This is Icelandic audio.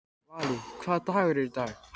Valý, hvaða dagur er í dag?